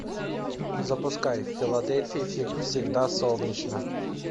запускай в филадельфии всегда солнечно